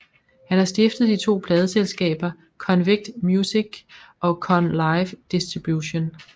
Han har stiftet de to pladeselskaber Konvict Muzik og Kon Live Distribution